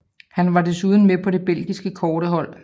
Han var desuden med på det belgiske kårdehold